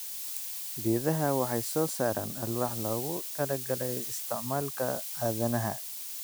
Geedaha waxay soo saaraan alwaax loogu talagalay isticmaalka aadanaha.